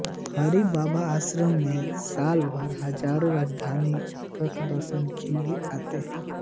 हरिबाबा आश्रम में साल भर हजारों राजस्थानी भक्त दर्शन के लिए आते हैं